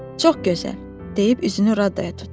Çox gözəl, deyib üzünü Radaya tutdu.